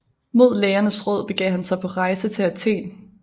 Mod lægernes råd begav han sig på rejse til Athen